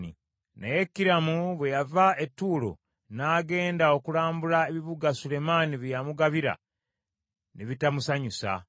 Naye Kiramu bwe yava e Ttuulo n’agenda okulambula ebibuga Sulemaani bye yamugabira, ne bitamusanyusa.